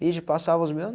de passar os meu